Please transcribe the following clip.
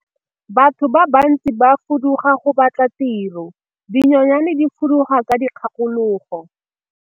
Batho ba bantsi ba fuduga go batla tiro, dinonyane di fuduga ka dikgakologo.